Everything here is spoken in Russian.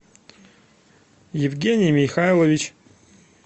евгений михаилович